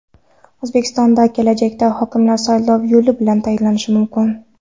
O‘zbekistonda kelajakda hokimlar saylov yo‘li bilan tayinlanishi mumkin.